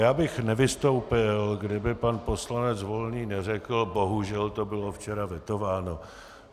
Já bych nevystoupil, kdyby pan poslanec Volný neřekl "bohužel to bylo včera vetováno".